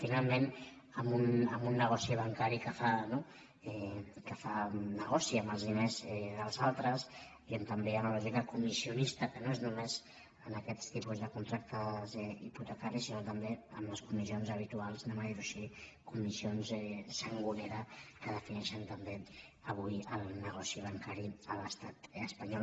finalment amb un negoci bancari que fa negoci amb els diners dels altres i on també hi ha una lògica co·missionista que no és només en aquests tipus de con·tractes hipotecaris sinó també amb les comissions ha·bituals diguem·ho així comissions sangonera que defineixen també avui el negoci bancari a l’estat es·panyol